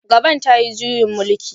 Gabon ta yi juyin mulki